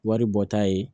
Wari bɔta ye